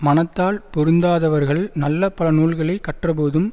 மனத்தால் பொருந்தாதவர்கள் நல்ல பல நூல்களை கற்றபோதும்